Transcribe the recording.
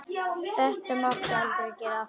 Þetta máttu aldrei gera aftur!